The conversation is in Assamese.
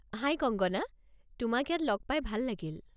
হাই কঙ্গনা, তোমাক ইয়াত লগ পাই ভাল লাগিল।